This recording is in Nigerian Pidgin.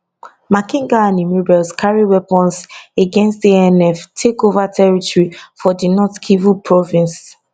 makenga and im rebels carry weapons again anf take ova territory for di north kivu province